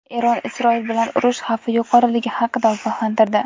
Eron Isroil bilan urush xavfi yuqoriligi haqida ogohlantirdi.